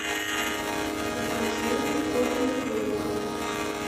закажи корм для кроликов